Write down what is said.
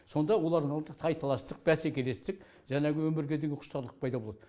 сонда олардың алдында тайталастық бәскелестік жаңағы өмірге деген құштарлық пайда болады